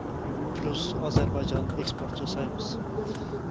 плюс әзербайжан экспорт жасаймыз